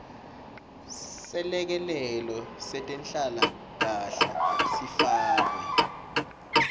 selekelelo setenhlalakanhle sifakwe